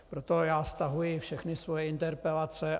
Proto já stahuji všechny svoje interpelace.